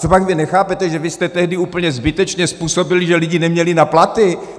Copak vy nechápete, že vy jste tehdy úplně zbytečně způsobili, že lidi neměli na platy?